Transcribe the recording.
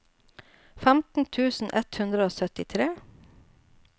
femten tusen ett hundre og syttitre